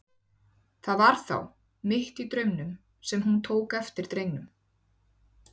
Það var þá, mitt í draumnum, sem hún tók eftir drengnum.